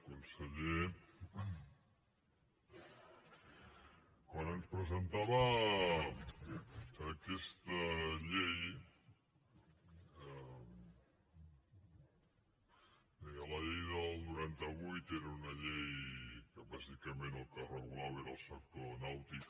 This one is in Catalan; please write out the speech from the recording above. conseller quan ens presentava aquesta llei deia la llei del noranta vuit era una llei que bàsicament el que regulava era el sector nàutic